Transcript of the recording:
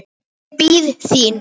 Ég bíð þín.